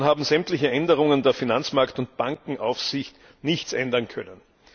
Daran haben sämtliche Änderungen der Finanzmarkt und Bankenaufsicht nichts ändern können.